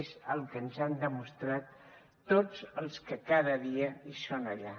és el que ens han demostrat tots els que cada dia hi són allà